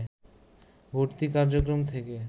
ভর্তি কার্যক্রম থেকে